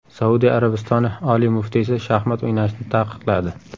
Saudiya Arabistoni oliy muftiysi shaxmat o‘ynashni taqiqladi.